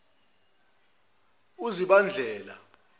uzibandlela